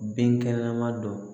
Binkɛnɛma don